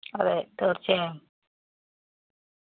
അതെ തീര്‍ച്ചയായും.